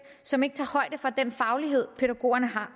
som ikke tager højde for den faglighed pædagogerne har